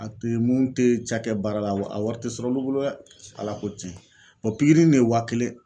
A te mun ke cakɛ baara la a wa a wari te sɔrɔ olu bolo dɛ Ala ko tiɲɛ. kiri nin ye wa kelen